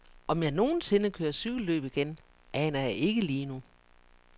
Om jeg nogen sinde kører cykelløb igen, aner jeg ikke lige nu.